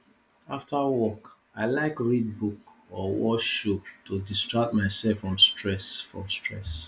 after work i like read book or watch show to distract myself from stress from stress